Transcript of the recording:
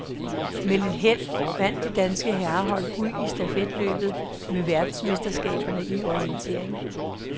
Med lidt held vandt det danske herrehold guld i stafetløbet ved verdensmesterskaberne i orientering.